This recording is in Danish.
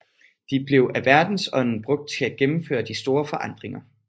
De blev af verdensånden brugt til at gennemføre de store forandringer